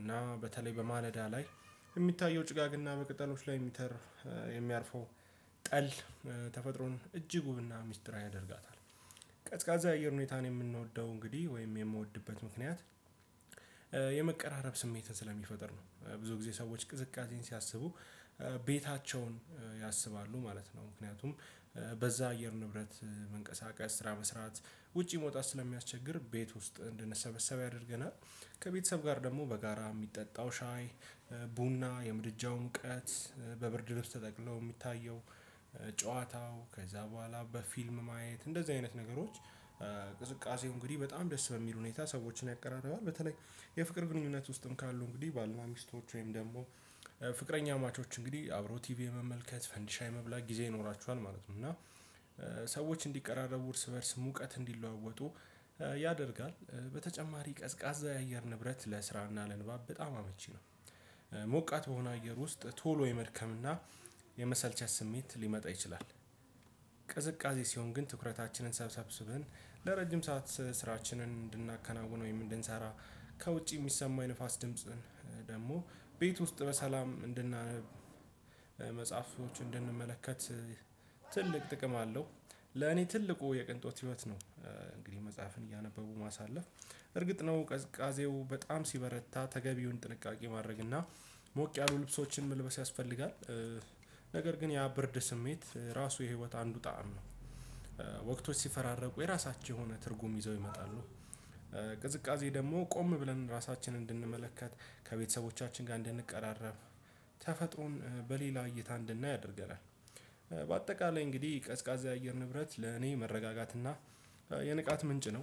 እና በተለይ በማለዳ ላይ የሚታየው ጭጋግና በቅጠሎች ላይ የሚያርፈው ጠል ተፈጥሮን እጅግ ውብና ሚስጥራዊ ያደርጋታል። ቀዝቃዛ የአየር ሁኔታን የምንወደው እንግዲህ ወይም የምወድበት ምክንያት የመቀራረብ ስሜትን ስለሚፈጥር ነው። ብዙ ጊዜ ሰዎች ቅዝቃዜን ሲያስቡ ቤታቸውን ያስባሉ ማለት ነው። ምክንያቱም በዛ አየር ንብረት መንቀሳቀስ ስራ መስራት ውጪ መውጣት ስለሚያስቸግር ቤት ውስጥ እንድንሰበሰብ ያደርገናል። ከቤተሰብ ጋር ደግሞ በጋራ የሚጠጣው ሻይ ቡና የምድጃውን ሙቀጥ በብርድ ልብስ ውስጥ ተጠቅለው የሚታየው ጨዋታው ከዛ በኋላ በፊልም ማየት እንደዚህ አይነት ነገሮች። ቅዝቃዜው እንግዲህ በጣም ደስ በሚል ሁኔታ ሰዎችን ያቀራርባል። በተለይ የፍቅር ግንኙነት ውስጥም ካሉ እንግዲህ ባልና ሚስቶች ወይም ደግሞ ፍቅረኛማቾች እንግዲህ አብሮ ቲቪ የመመልከት ፈንዲሻ የመብላት ጊዜ ይኖራቸዋል ማለት ነው። እና ሰዎች እንዲቀራረቡ እርስ በእርስ ሙቀት እንዲለዋወጡ ያደርጋል። በተጨማሪ ቀዝቃዛ የአየር ንብረት ለስራና ለንባብ በጣም አመቺ ነው። ሞቃት በሆነ አየር ውስጥ ቶሎ የመድከም እና የመሰልቸት ስሜት ሊመጣ ይችላል። ሲሆን ግን ትኩረታችንን ሰብስብን ለረጅም ሰዓት ስራችንን እንድናከናውነው ወይም እንድንሰራ ከውጭ የሚሰማኝ ንፋስ ድምጽን ደግሞ ቤት ውስጥ በሰላም እንድናነብ መጽሐፍቶችን እንድንመለከት ትልቅ ጥቅም አለው። ለኔ ትልቁ የቅንጦት ህይወት ነው። እንግዲህ መጽሐፍን እያነበቡ ማሳለፍ እርግጥ ነው ቀዝቃዜው በጣም ሲበረታ ተገቢውን ጥንቃቄ ማድረግ እና ሞቅ ያሉ ልብሶችን መልበስ ያስፈልጋል። ነገር ግን ያ ብርድ ስሜት እራሱ የህይወት አንዱ ጣዕም ነው። ወቅቶች ሲፈራረቁ የራሳቸው የሆነ ትርጉም ይዘው ይመጣሉ። ቅዝቃዜ ደግሞ ቆም ብለን ራሳችንን እንድንመለከት ከቤተሰቦቻችን ጋር እንድንቀራረብ ተፈጥሮን በሌላ እይታ እንድናይ ያደርገናል። በአጠቃላይ እንግዲህ ቀዝቃዛ አየር ንብረት ለእኔ መረጋጋትና የንቃት ምንጭ ነው።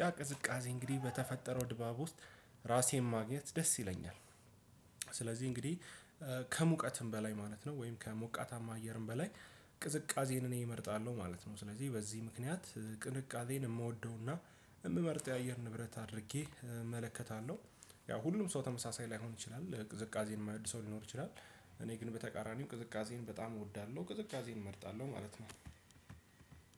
ያ ቅዝቃዜ እንግዲህ በተፈጠረው ድባብ ውስጥ ራሴን ማግኘት ደስ ይለኛል። እንግዲህ ከሙቀትም በላይ ማለት ነው ወይም ከሞቃታማ አየርም በላይ ቅዝቃዜን እኔ እመርጣለሁ ማለት ነው። ስለዚህ በዚህ ምክንያት ቅንቃዜን የምወደውና የምመርጠው የአየር ንብረት አድርጌ እመለከታለሁ። ያው ሁሉም ሰው ተመሳሳይ ላይሆን ይችላል ቅዝቃዜን የማይወድ ሰው ሊኖር ይችላል። እኔ ግን በተቃራኒው ቅዝቃዜን በጣም እወዳለሁ ቅዝቃዜን እመርጣለሁ ማለት ነው።